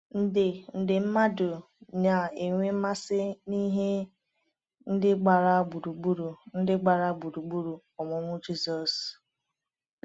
nde nde mmadụ na-enwe mmasị na ihe ndị gbara gburugburu ndị gbara gburugburu ọmụmụ Jizọs.